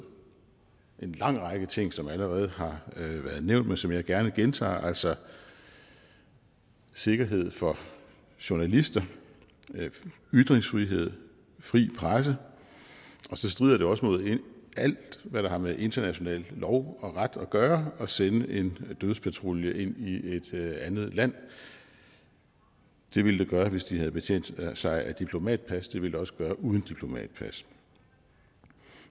en lang række ting som allerede har været nævnt men som jeg gerne gentager altså sikkerhed for journalister ytringsfrihed fri presse og så strider det også mod alt hvad der har med international lov og ret at gøre at sende en dødspatrulje ind i et andet land det ville det gøre hvis de havde betjent sig af diplomatpas det ville det også gøre uden diplomatpas